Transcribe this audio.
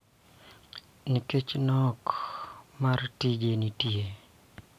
Nikech nok mar tije manitie.